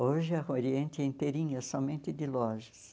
Hoje a Rua Oriente é inteirinha somente de lojas.